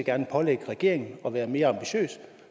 gerne pålægge regeringen at være mere ambitiøs